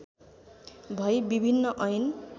भई विभिन्न ऐन